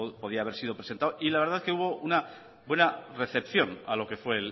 podía haber sido presentado y la verdad es que hubo una buena recepción a lo que fue